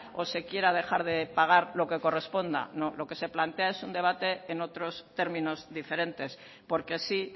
o se quiera dejar de pagar lo que corresponda no lo que se plantea es un debate en otros términos diferentes porque sí